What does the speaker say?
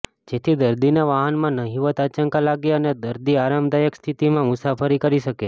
જેથી દર્દીને વાહનમાં નહિવત આંચકા લાગે અને દર્દી આરામદાયક સ્થિતિમાં મુસાફરી કરી શકે